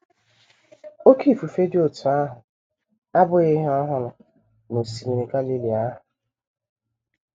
Oké ifufe dị otú ahụ abụghị ihe ọhụrụ n’Osimiri Galili ahụ.